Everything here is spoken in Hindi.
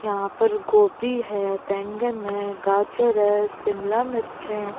यहां पर गोभी है बैंगन है गाजर है शिमला मिर्च है।